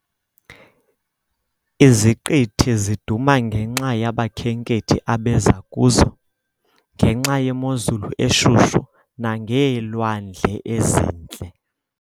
Iziqithi ziduma ngenxa yabakhenkethi abeza kuzo, ngenxa yemozulu eshushu nangeelwandle ezintle.